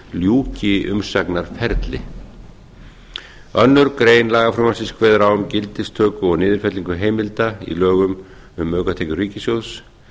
ljúki umsagnarferli annarrar greinar lagafrumvarpsins kveður á um gildistöku og niðurfellingu heimilda í lögum um aukatekjur ríkissjóðs